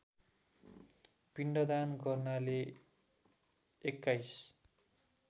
पिण्डदान गर्नाले २१